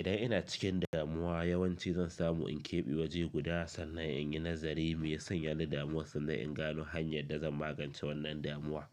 Idan ina cikin damuwa yawanci zan samu in keɓe waje guda sannan in yi nazari me sanya ni damuwar sannan in gano hanyar da zan magance wannan damuwa.